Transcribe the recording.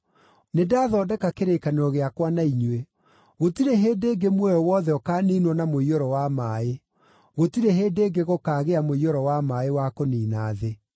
Nĩndathondeka kĩrĩkanĩro gĩakwa na inyuĩ: Gũtirĩ hĩndĩ ĩngĩ muoyo wothe ũkaaniinwo na mũiyũro wa maaĩ; gũtirĩ hĩndĩ ĩngĩ gũkaagĩa mũiyũro wa maaĩ wa kũniina thĩ.”